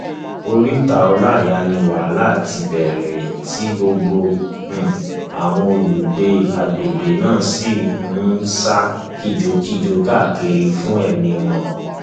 oríta ọláíyá ni wàhálà ti bẹrẹ tí gbogbo um àwọn olùgbé àgbègbè náà sì um ń sá kìjokìjo káàkiri fún ẹmí wọn